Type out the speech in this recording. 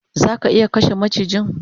Zaka iya kashe macijin?